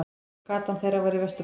Gatan þeirra var í Vesturbænum.